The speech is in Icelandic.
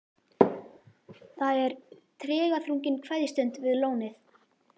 Það er tregaþrungin kveðjustund við lónið.